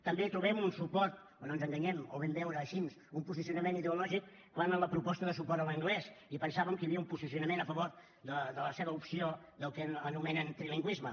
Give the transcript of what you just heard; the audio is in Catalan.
també trobem un suport però no ens enganyem ho vam veure així un posicionament ideològic quan en la proposta de suport a l’anglès i pensàvem que hi havia un posicionament a favor de la seva opció del que anomenen trilingüisme